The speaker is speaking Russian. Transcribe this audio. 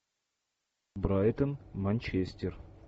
брайтон манчестер